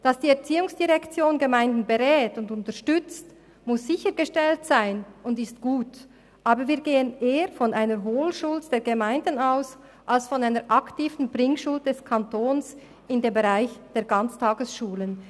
Dass die ERZ Gemeinden berät und unterstützt, muss sichergestellt sein und ist gut, aber wir gehen eher von einer Holschuld der Gemeinden aus als von einer aktiven Bringschuld des Kantons im Bereich der Ganztagesschulen.